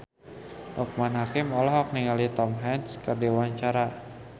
Loekman Hakim olohok ningali Tom Hanks keur diwawancara